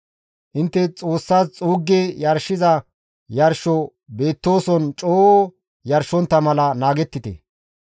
Intte Xoossas xuuggi yarshiza yarsho beettooson coo yarshontta mala naagettite.